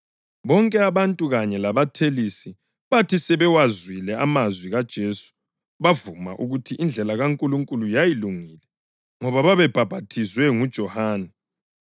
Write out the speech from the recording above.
(Bonke abantu, kanye labathelisi, bathi sebewazwile amazwi kaJesu bavuma ukuthi indlela kaNkulunkulu yayilungile, ngoba babebhaphathizwe nguJohane.